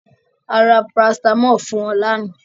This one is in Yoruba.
À rà paracetamọl fun ọ lána